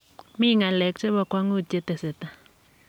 mi ng'alek che bo kwong'ut che tesetai.